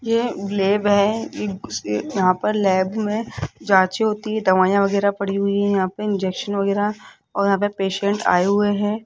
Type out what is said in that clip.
यह लैब है ई अ यहां पर लैब में जांचे होती है दवाइयां वगैरह पड़ी हुई हैं यहां पे इंजेक्शन वगैरा और यहां पे पेशेंट आए हुए हैं।